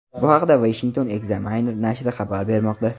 Bu haqda Washington Examiner nashri xabar bermoqda .